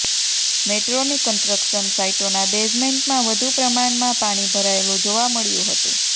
મેટ્રોની કન્સ્ટ્રક્શન સાઇટોના બેઝમેન્ટમાં વધુ પ્રમાણમાં પાણી ભરાયેલું જોવા મળ્યું હતું